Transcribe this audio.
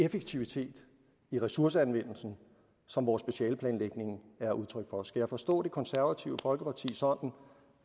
effektivitet i ressourceanvendelsen som vores specialeplanlægning er udtryk for skal jeg forstå det konservative folkeparti sådan